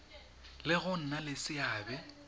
le go nna le seabe